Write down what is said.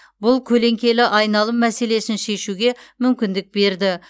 бұл көлеңкелі айналым мәселесін шешуге мүмкіндік берді